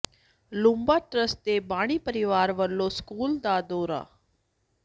Lumba trust ਦੇ ਬਾਨੀ ਪਰਿਵਾਰ ਵੱਲੋਂ ਸਕੂਲ ਦਾ ਦੌਰਾ